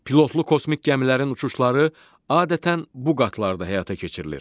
Pilotlu kosmik gəmilərin uçuşları adətən bu qatlarda həyata keçirilir.